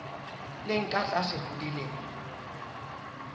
leng ka tlase ho dilemo